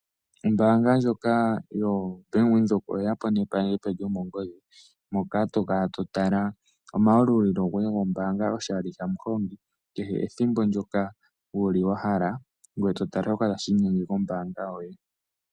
Ombaanga yobank Windhoek oyeya po nepandja epe lyomongodhi moka to vulu kala to tala omayalulilo goye gombaanga oshali kehe ethimbo ndyoka wa hala ngoye to tala shoka tashi inyenge kombaanga yoye.